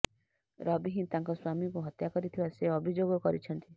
ରବି ହିଁ ତାଙ୍କ ସ୍ୱାମୀଙ୍କୁ ହତ୍ୟା କରିଥିବା ସେ ଅଭିଯୋଗ କରିଛନ୍ତି